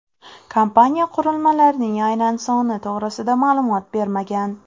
Kompaniya qurilmalarning aynan soni to‘g‘risida ma’lumot bermagan.